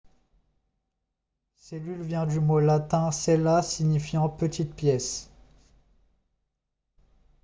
cellule vient du mot latin cella signifiant petite pièce